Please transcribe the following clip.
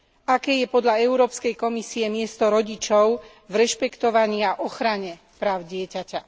Aké je podľa Európskej komisie miesto rodičov v rešpektovaní a ochrane práv dieťaťa?